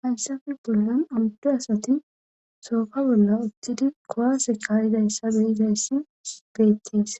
hayssafe bollan amuddu asati sooka bolla uththidi kowaase kaayidayssabe izayssi beettis